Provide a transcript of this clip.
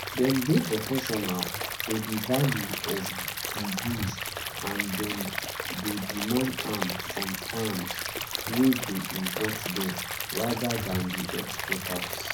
dem dey proportional to di value of di goods and dem dey demand am from firms wey dey import dem rather dan di exporters